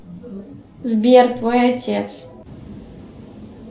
сбер твой отец